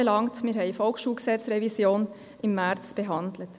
Wir haben die Revision des Volksschulgesetzes (VSG) im März behandelt.